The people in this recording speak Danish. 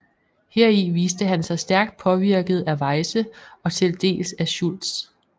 Heri viste han sig stærkt påvirket af Weyse og til dels af Schultz